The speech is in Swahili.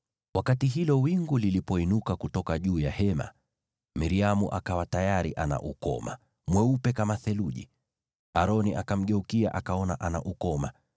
Wakati hilo wingu liliinuka kutoka juu ya Hema, Miriamu akawa tayari ana ukoma, mweupe kama theluji. Aroni akamgeukia, akaona ana ukoma.